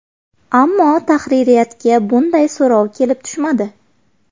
Ammo tahririyatga bunday so‘rov kelib tushmadi.